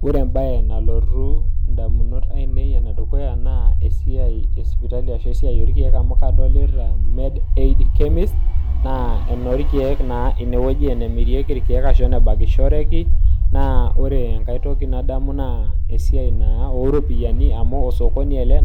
Ore embaye nalotu endukuya ai naa empaye e sipitali ashu ewueji oorkeek aa taa chemist nadolita sii ajo osokoni